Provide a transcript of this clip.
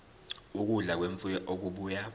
ukudla kwemfuyo okubuya